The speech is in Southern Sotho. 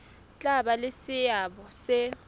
tla ba le seabo se